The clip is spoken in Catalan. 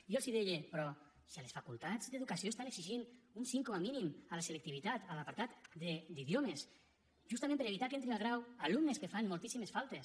i jo els deia però si a les facultats d’educació estan exigint un cinc com a mínim a la selectivitat a l’apartat d’idiomes justament per evitar que entrin al grau alumnes que fan moltíssimes faltes